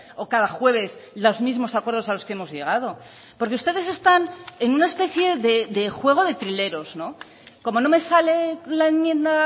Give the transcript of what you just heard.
o cada jueves los mismos acuerdos a los que hemos llegado porque ustedes están en una especie de juego de trileros como no me sale la enmienda